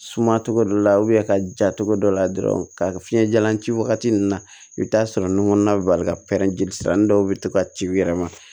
Suma cogo dɔ la ka ja cogo dɔ la dɔrɔn ka fiɲɛ jalan ci wagati min na i bɛ taa sɔrɔ nun kɔnɔna la ka pɛrɛn sisan dɔw bɛ to ka ci u yɛrɛ ma